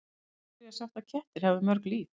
Af hverju er sagt að kettir hafi mörg líf?